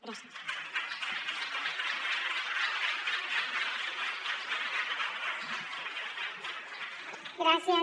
gràcies